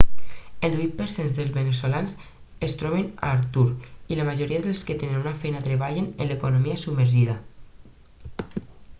el divuit per cent dels veneçolans es troben a l'atur i la majoria dels que tenen una feina treballen en l'economia submergida